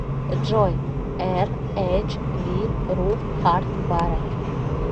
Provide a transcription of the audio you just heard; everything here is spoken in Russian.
джой эр эч ви ру хард варе